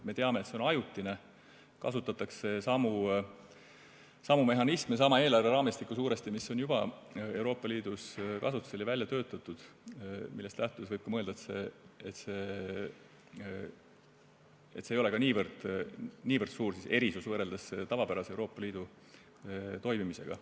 Me teame, et see on ajutine, kasutatakse samu mehhanisme, suuresti sama eelarveraamistikku, mis on juba Euroopa Liidus kasutusel ja välja töötatud, millest lähtudes võib ka mõelda, et see ei ole niivõrd suur erinevus, võrreldes Euroopa Liidu tavapärase toimimisega.